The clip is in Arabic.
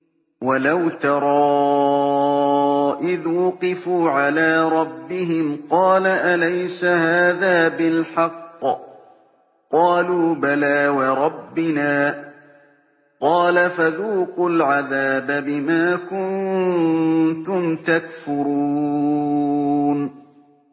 وَلَوْ تَرَىٰ إِذْ وُقِفُوا عَلَىٰ رَبِّهِمْ ۚ قَالَ أَلَيْسَ هَٰذَا بِالْحَقِّ ۚ قَالُوا بَلَىٰ وَرَبِّنَا ۚ قَالَ فَذُوقُوا الْعَذَابَ بِمَا كُنتُمْ تَكْفُرُونَ